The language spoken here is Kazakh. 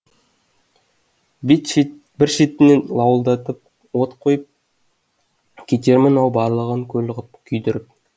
бір шетінен лауылдатып от қойып кетермін ау барлығын көл ғып күйдіріп